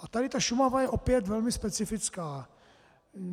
A tady ta Šumava je opět velmi specifická.